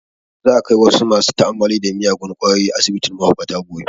Za a kai wasu masu ta'ammali da miyagun kwayoyi asibitin mahaukata gobe